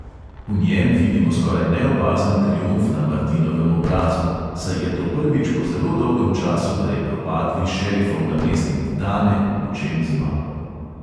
V njem vidimo skoraj neopazen triumf na martinovem obrazu, saj je to prvič po zelo dolgem času, da je propadli šerifov namestnik dane v čem zmagal.